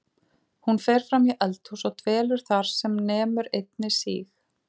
Hún fer fram í eldhús og dvelur þar sem nemur einni síg